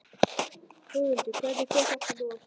Þórhildur, hvernig fer þetta nú af stað?